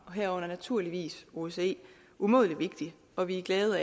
herunder naturligvis osce umådelig vigtigt og vi er glade